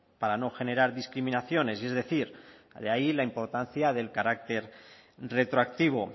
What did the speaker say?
para no generar discriminaciones y es decir de ahí la importancia del carácter retroactivo